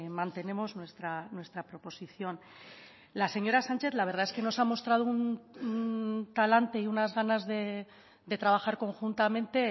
mantenemos nuestra proposición la señora sánchez la verdad es que nos ha mostrado un talante y unas ganas de trabajar conjuntamente